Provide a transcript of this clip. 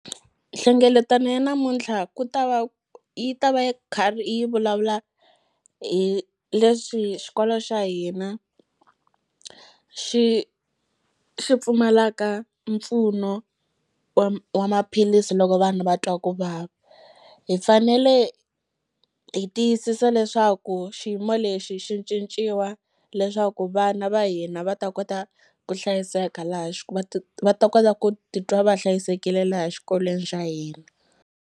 Nhlengeletano ya namuntlha ku ta va yi ta va yi karhi yi vulavula hi leswi xikolo xa hina xi xi pfumalaka mpfuno wa maphilisi loko vanhu va twa ku vava hi fanele hi tiyisisa leswaku xiyimo lexi xi cinciwa leswaku vana va hina va ta kota ku hlayiseka laha va ta kota ku titwa va hlayisekile laha xikolweni xa hina.